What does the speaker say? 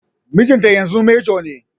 Mijinta yanzu manjo ne